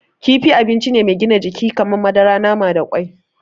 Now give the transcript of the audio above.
Kifi abinci mai gina jiki ne kamar madara, nama da kwai.